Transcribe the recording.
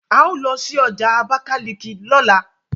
ào ló sí ọjà abakaliki lọla